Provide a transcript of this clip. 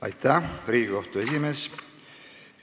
Aitäh, Riigikohtu esimees!